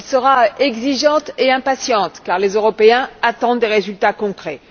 Elle sera exigeante et impatiente car les Européens attendent des résultats concrets.